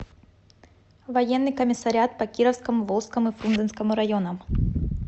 военный комиссариат по кировскому волжскому и фрунзенскому районам